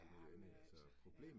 Ja, men altså, ja